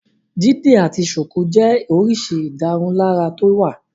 Dídi àti ṣùkú jẹ́ oríṣi ìdárunlárà tó wà.